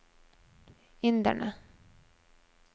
inderne